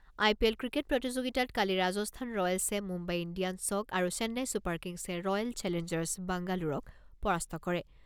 আই P L cricket প্ৰতিযোগিতাত কালি ৰাজস্থান ৰয়েলছে মুম্বাই ইণ্ডিয়ানছক আৰু চেন্নাই ছুপাৰ কিংছে ৰয়েল চেলেঞ্জাৰ্ছ বাংগালোৰক পৰাস্ত কৰে।